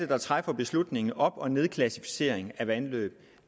der træffer beslutningen om op og nedklassificering af vandløb